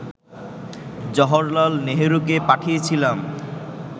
জওহরলাল নেহরুকে পাঠিয়েছিলাম